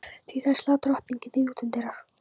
Því þá slær drottning þig utanundir.